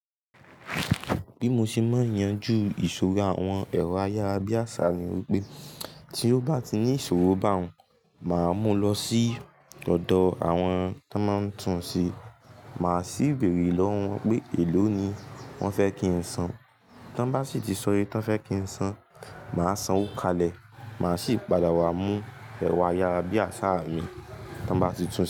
Bí mo ṣe máa yanjú ìṣòro àwọn ẹ̀rọ ayára bí àsá ni wípé tí ó bá ti ní ìṣòro bá hun, máa mú lọ sí ọ̀dọ̀ àwọn tó máa ń tún ṣe. Màá sì béèrè lọ́wọ́ wọn pé, èló ni wọ́n fẹ́ kí n san. Tí wọ́n bá sì ti sọ wípé wọ́n fẹ́ kí n san, màá sanwó kalẹ̀. Màá sì padà wá mú ẹ̀rọ ayára bí àsá mi tí wọ́n bá ti tún ṣe.